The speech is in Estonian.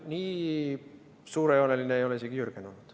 Nii suurejooneline ei ole isegi Jürgen olnud.